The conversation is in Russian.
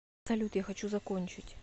салют я хочу закончить